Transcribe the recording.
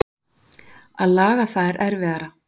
Að laga það er erfiðara.